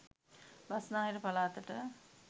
බස්නාහිර පළාතට